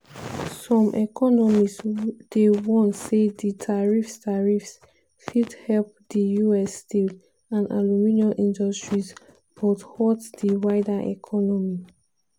some economists dey warn say di tariffs tariffs fit help di us steel and aluminium industries but hurt di wider economy.